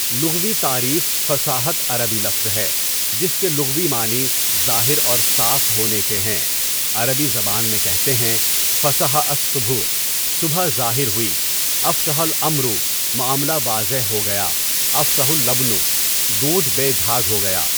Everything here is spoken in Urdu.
لغوی تعریف فصاحت عربی لفظ ہے جس کے لغوی معنی ظاہر اور صاف ہونے کے ہیں عربی زبان میں کہتے ہیں فَصَحَ الصبحُ صبح ظاہر ہوئی اَفْصَحَ الاَمرُ معاملہ واضح ہو گیا افصح اللبنُ دودھ بے جھاگ ہو گیا.